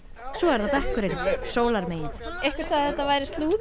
svo er það bekkurinn sólarmegin einhver sagði að þetta væri